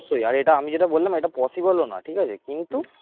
অবশ্যই আর এটা আমি যেটা বললাম এটা possible ও না ঠিক আছে কিন্তু